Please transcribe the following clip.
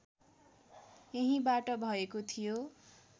यहीँबाट भएको थियो